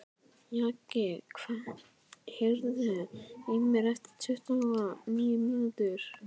Jaki, heyrðu í mér eftir tuttugu og níu mínútur.